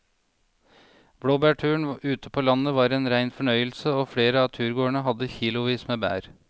Blåbærturen ute på landet var en rein fornøyelse og flere av turgåerene hadde kilosvis med bær.